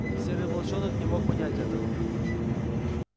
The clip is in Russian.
серый волчонок не мог понять этого